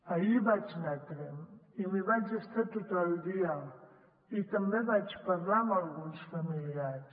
ahir vaig anar a tremp i m’hi vaig estar tot el dia i també vaig parlar amb alguns familiars